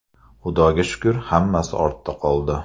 Xudoga shukr, hammasi ortda qoldi.